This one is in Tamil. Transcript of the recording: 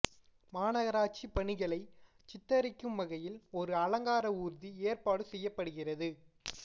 மாநகராட்சி பணிகளை சித்தரிக்கும் வகையில் ஒரு அலங்கார ஊர்தி ஏற்பாடு செய்யப்படுகிறது